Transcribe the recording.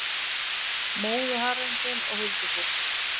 Móðuharðindin og huldufólk